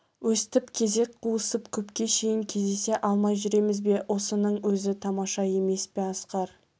өстіп кезек қуысып көпке шейін кездесе алмай жүреміз бе осынын өзі тамаша емес пе асқар